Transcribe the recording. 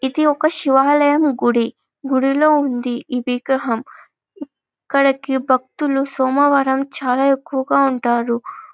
ఇది ఒక శివాలయం గుడి .గుడి లో ఉంది ఏ విగ్రహం ఇక్కడకి భక్తులు సోమవారం చాల ఎక్కువగా ఉంటారు.